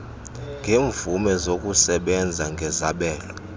yeemvume zokusebenza ngezabelo